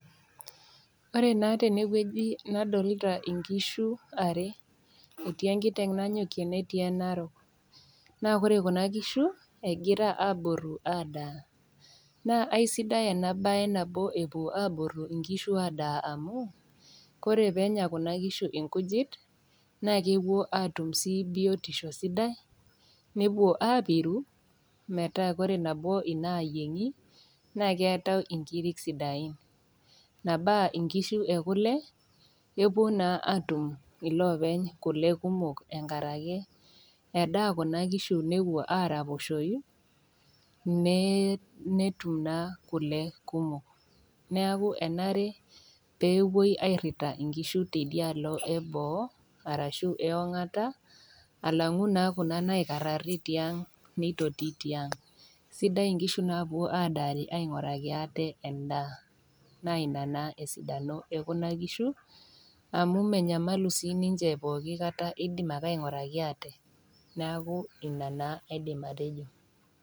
Ore naa tene wueji nadolita inkishu are, etii enkiteng' nanyokie netii enarok, naa ore Kuna kishu egira aaboru adaa, naa aisidai ena baye nabo epuo inkishu aboru adaa amu, Kore pee enya Kuna kishu inkujit naake epuo naa atum sii biotisho sidai, nepuo aapiru metaa ore nabo inaayiengi, naa keata inkiri sidain, nabaa inkishu e kule, epuo naa iloopeny atum kule kumok enkaraki endaa Kuna kishu newuoi araposhoi, netum naa kule kumok. Neaku enare nepuoi airita inkishu teidialo e boo arashu e ong'ata alang'u naa Kuna naikaraari tiang' neitoti tiang', sidai inkishu naapuo adaari aing'oraki aate endaa, naa Ina naa esidano e Kuna kishu amu menyamalubnaa ninche pooki kata eidim ake ainguraki aate, neaku Ina naa aidim atejo.